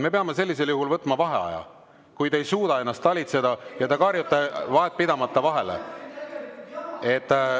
Me peame sellisel juhul võtma vaheaja, kui te ei suuda ennast talitseda ja te karjute vahetpidamata vahele.